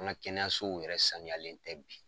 An ga kɛnɛyasow yɛrɛ saniyalen tɛ bi